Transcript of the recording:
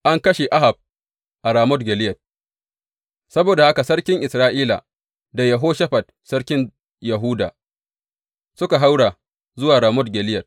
An kashe Ahab a Ramot Gileyad Saboda haka sarkin Isra’ila da Yehoshafat sarkin Yahuda suka haura zuwa Ramot Gileyad.